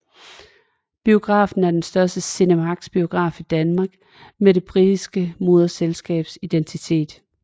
Biografen er den første CinemaxX biograf i Danmark med det britiske moderselskabs identitet